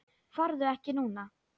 Farðu ekki núna!